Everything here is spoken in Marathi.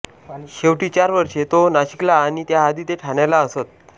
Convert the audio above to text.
शेवटची चार वर्षे ते नाशिकला आणि त्याआधी ते ठाण्याला असत